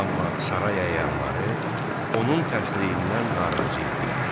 Amma saray əyanları onun tərslindən narazı idilər.